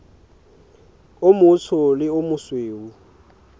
o motsho le o mosweu